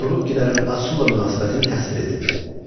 Turukkilərin Asurla münasibətini təsvir edin.